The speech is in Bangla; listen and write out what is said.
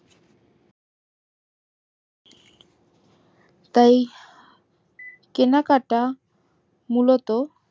তাই কেনাকাটা মূলত